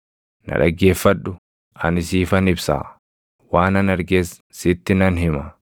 “Na dhaggeeffadhu; ani siifan ibsaa; waanan arges sitti nan hima;